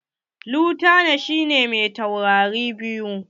Lutanan shi ne me taurari biyu.